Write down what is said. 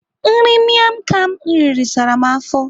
Nri miam kham m riri sara m afọ.